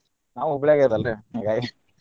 ನಾವು Hubli ಗ ಇರೋದಲ್ರಿ ಹಾಂಗಾಗಿ .